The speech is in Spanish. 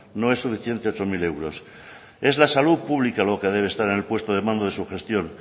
no es suficiente ocho mil euros es la salud pública lo que debe estar en el puesto de mando de su gestión